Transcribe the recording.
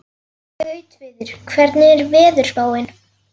Gautviður, hvernig er veðurspáin?